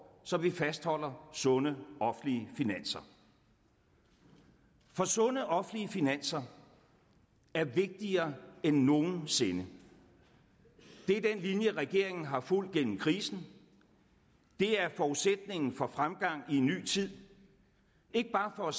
så vi fastholder sunde offentlige finanser for sunde offentlige finanser er vigtigere end nogen sinde det er den linje regeringen har fulgt gennem krisen det er forudsætningen for fremgang i en ny tid ikke bare for